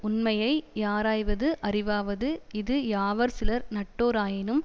உண்மையை யாராய்வது அறிவாவது இது யாவர் சிலர் நட்டோராயினும்